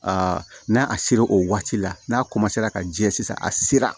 n'a a sera o waati la n'a ka jɛ sisan a sera